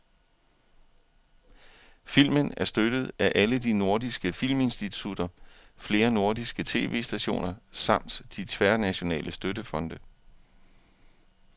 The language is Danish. Filmen er støttet af alle de nordiske filminstitutter, flere nordiske tv-stationer samt de tværnationale støttefonde.